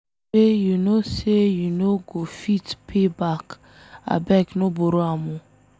Money wey you know say you no go fit pay back abeg no borrow am o